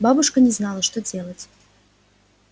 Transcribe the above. бабушка не знала что делать